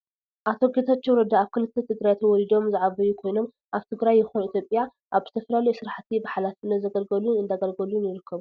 ኣይተ ጌታቸው ረዳ ኣብ ክልል ትግራይ ተወሊዶም ዝዓበዩ ኮይኖም ኣብ ትግራይ ይኩን ኢትዮጵያ ኣብ ዝተፈላለዩ ስራሕቲ ብሓላፍነት ዘገልገሉን እንዳገልገሉን ይርከቡ።